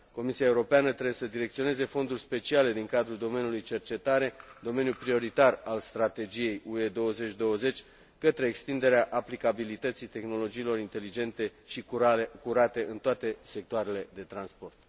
Comisia Europeană trebuie să direcționeze fonduri speciale din cadrul domeniului cercetare, domeniu prioritar al strategiei UE 2020, către extinderea aplicabilității tehnologiilor inteligente și curate în toate sectoarele de transport.